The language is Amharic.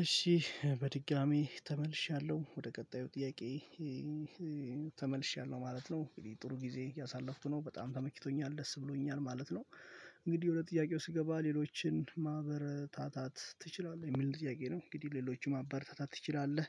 እሺ በድጋሚ ተመልሻለሁ ወደ ቀጣዩ ጥያቄ ተመልሼያለሁ ማለት ነው። ጥሩ ጊዜ እያሳለፍኩ ነው። በጣም ተመክቶኛል። ደስ ብሎኛል ማለት ነው። እንግዲህ ወደ ጥያቄው ስገባ ሌሎችን ማበረታታት ትችላለህ? የሚል ጥያቄ ነው እንግዲህ ሌሎችን ማበረታታት ትችላለህ?